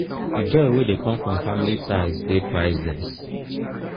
di joy wey dey come from family ties dey priceless.